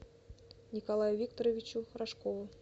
николаю викторовичу рожкову